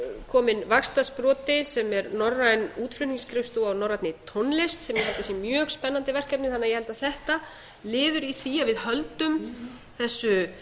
kominn vaxtarsproti sem er norræn útflutningsskrifstofa á norrænni tónlist sem ég held að sé mjög spennandi verkefni þannig að ég held að þetta liður í því að vi höldum